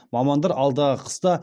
мамандар алдағы қыста